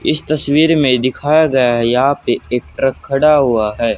इस तस्वीर में दिखाया गया यहां पे एक ट्रक खड़ा हुआ है।